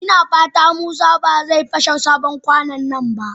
Ina fata Musa ba zai fashe wannan sabon kwano ba.